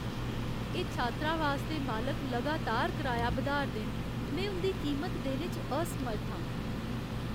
एह् छात्रावास दे मालक लगातार कराया बधाऽ 'रदे न, में उं'दी कीमत देने च असमर्थ आं।